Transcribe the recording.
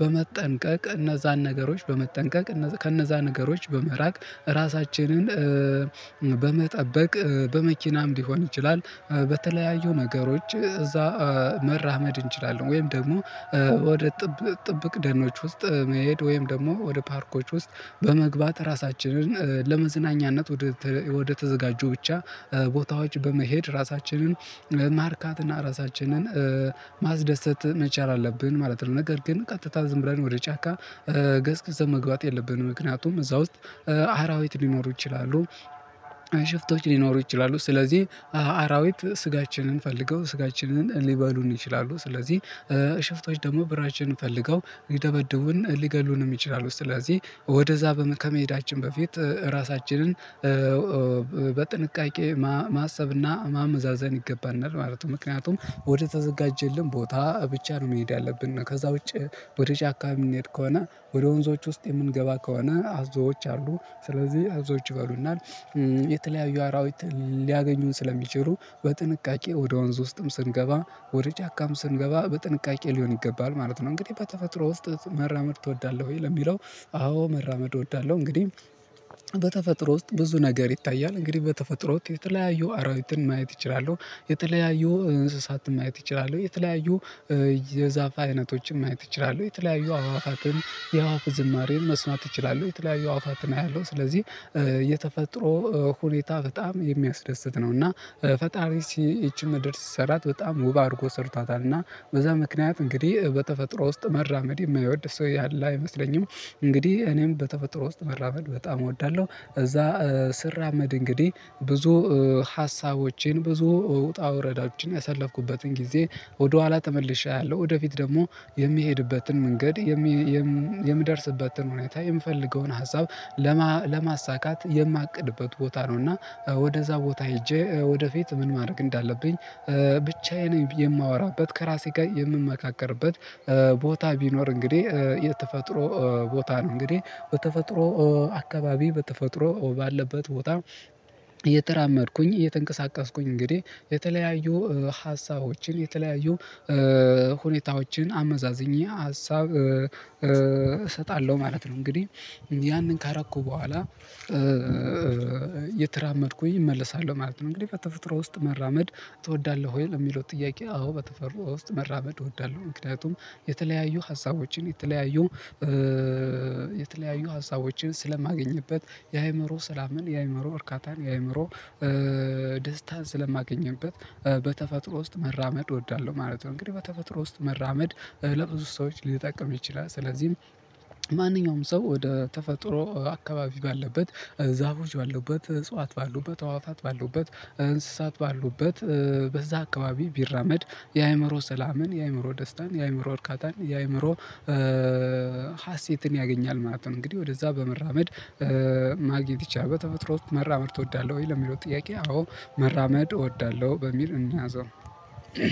በመጠንቀቅ እነዛን ነገሮች በመጠንቀቅ ከነዛ ነገሮች በመራቅ ራሳችንን በመጠበቅ በመኪናም ሊሆን ይችላል። በተለያዩ ነገሮች እዛ መራመድ እንችላለን። ወይም ደግሞ ወደ ጥብቅ ደነኖች ውስጥ መሄድ ወይም ደግሞ ወደ ፓርኮች ውስጥ በመግባት ራሳችንን ለመዝናኛነት ወደ ተዘጋጁ ብቻ ቦታዎች በመሄድ ራሳችንን ማርካትና ራሳችንን ማስደሰት መቻል አለብን። ማለት ነው ነገር ግን ቀጥታ ዝም ብለን ወደ ጫካ ገስግሰን መግባት የለብንም። ምክንያቱም እዛ ውስጥ አራዊት ሊኖሩ ይችላሉ። ሽፍቶች ሊኖሩ ይችላሉ። ስለዚህ አራዊት ስጋችንን ፈልገው ስጋችንን ሊበሉን ይችላሉ። ስለዚህ ሽፍቶች ደግሞ ብራችንን ፈልገው ይደበድቡን ሊገሉንም ይችላሉ። ስለዚህ ወደዛ ከመሄዳችን በፊት ራሳችንን በጥንቃቄ ማሰብና ማመዛዘን ይገባናል ማለት ነው። ምክንያቱም ወደ ተዘጋጀልን ቦታ ብቻ ነው መሄድ ያለብን ከዛ ውጪ ወደ ጫካ የምንሄድ ከሆነ ወደ ወንዞች ውስጥ የምንገባ ከሆነ አዞዎች አሉ ስለዚህ አዞዎች ይበሉናል። የተለያዩ አራዊት ሊያገኙን ስለሚችሉ በጥንቃቄ ወደ ወንዝ ውስጥም ስንገባ ወደ ጫካም ስንገባ በጥንቃቄ ሊሆን ይገባል ማለት ነው። እንግዲህ በተፈጥሮ ውስጥ መራመድ ትወዳለህ ወይ ለሚለው። አዎ መራመድ እወዳለሁ። እንግዲህ በተፈጥሮ ውስጥ ብዙ ነገር ይታያል እንግዲህ በተፈጥሮ ውስጥ የተለያዩ አራዊትን ማየት እችላለሁ የተለያዩ እንስሳትን ማየት እችላለሁ። የተለያዩ የዛፍ አይነቶችን ማየት እችላለሁ የተለያዩ አዋፋትን የአዋፍ ዝማሬን መስማት ይችላሉ የተለያዩ አዋፋትን አያለሁ ስለዚህ የተፈጥሮ ሁኔታ በጣም የሚያስደስት ነው። እና ፈጣሪ ይቺን ምድር ሲሰራት በጣም ውብ አድርጎ ሰርቷታል። እና በዛ ምክንያት እንግዲህ በተፈጥሮ ውስጥ መራመድ የማይወድ ሰው ያለ አይመስለኝም። እንግዲህ እኔም በተፈጥሮ ውስጥ መራመድ በጣም እወዳለሁ። እዛ ስራመድ እንግዲህ ብዙ ሀሳቦቼን ብዙ ውጣ ወረዳዎችን ያሰለፍኩበትን ጊዜ ወደኋላ ተመልሼ አለው ወደፊት ደግሞ የሚሄድበትን መንገድ የምደርስበትን ሁኔታ የምፈልገውን ሀሳብ ለማሳካት የማቅድበት ቦታ ነውና። ወደዛ ቦታ ሄጄ ወደፊት ምን ማድረግ እንዳለብኝ ብቻዬን የማወራበት ከራሴ ጋር የምመካከርበት ቦታ ቢኖር እንግዲህ የተፈጥሮ ቦታ ነው። እንግዲህ በተፈጥሮ አካባቢ በተፈጥሮ ባለበት ቦታ እየተራመድኩኝ እየተንቀሳቀስኩኝ እንግዲህ የተለያዩ ሀሳቦችን የተለያዩ ሁኔታዎችን አመዛዝኜ ሀሳብ እሰጣለሁ ማለት ነው። እንግዲህ ያንን ካርኩ በኋላ የተራመድኩኝ እመለሳለሁ ማለት ነው። እንግዲህ በተፈጥሮ ውስጥ መራመድ ትወዳለህ ወይ ለሚለው ጥያቄ። አዎ በተፈጥሮ ውስጥ መራመድ እወዳለሁ። ምክንያቱም የተለያዩ ሀሳቦችን የተለያዩ ሀሳቦችን ስለማገኝበት የአእምሮ ሰላምን የአእምሮ እርካታን የአእምሮ ደስታን ስለማገኝበት በተፈጥሮ ውስጥ መራመድ እወዳለሁ ማለት ነው። እንግዲህ በተፈጥሮ ውስጥ መራመድ ለብዙ ሰዎች ሊጠቀም ይችላል። ስለዚህም ማንኛውም ሰው ወደ ተፈጥሮ አካባቢ ባለበት ዛፎች ባለውበት እጽዋት ባሉበት አዋፋት ባሉበት እንስሳት ባሉበት በዛ አካባቢ ቢራመድ የአእምሮ ሰላምን የአእምሮ ደስታን የአእምሮ እርካታን የአእምሮ ሀሴትን ያገኛል ማለት ነው። እንግዲህ ወደዛ በመራመድ ማግኘት ይቻላል። በተፈጥሮ ውስጥ መራመድ እወዳለሁ ወይ ለሚለው ጥያቄ። አዎ መራመድ እወዳለሁ በሚል እኒያዘው።